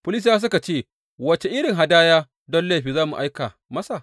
Filistiyawa suka ce, Wace irin hadaya don laifi za mu aika masa?